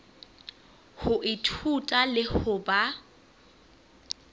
ho ithuta le ho ba